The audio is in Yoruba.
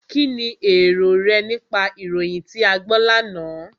Kínni èrò rẹ nípa ìròyìn tí a gbọ́ lánàá?